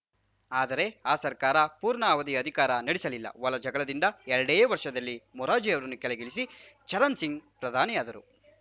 ಆದರೆ ಆ ಸರ್ಕಾರ ಪೂರ್ಣಾವಧಿ ಅಧಿಕಾರ ನಡೆಸಲಿಲ್ಲ ಒಳಜಗಳದಿಂದ ಎರಡೇ ವರ್ಷದಲ್ಲಿ ಮೊರಾರ್ಜಿಯನ್ನು ಕೆಳಗಿಳಿಸಿ ಚರಣ್‌ ಸಿಂಗ್‌ ಪ್ರಧಾನಿಯಾದರು